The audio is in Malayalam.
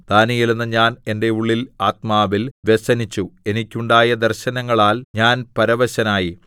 ദാനീയേൽ എന്ന ഞാൻ എന്റെ ഉള്ളിൽ ആത്മാവിൽ വ്യസനിച്ചു എനിക്കുണ്ടായ ദർശനങ്ങളാൽ ഞാൻ പരവശനായി